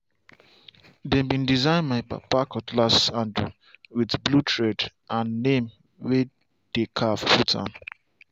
dem bin design my papa cutlass handle with blue thread and name way dey carve put am.